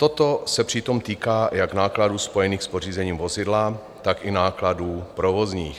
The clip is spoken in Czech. Toto se přitom týká jak nákladů spojených s pořízením vozidla, tak i nákladů provozních.